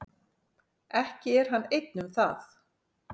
Ekki er hann einn um það.